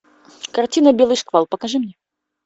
картина белый шквал покажи мне